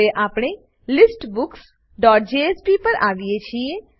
હવે આપણે listbooksજેએસપી પર આવીએ છીએ